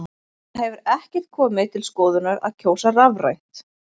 Það hefur ekkert komið til skoðunar að kjósa rafrænt?